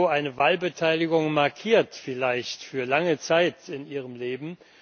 So eine Wahlbeteiligung markiert vielleicht für lange Zeit ihr Leben.